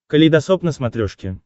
калейдосоп на смотрешке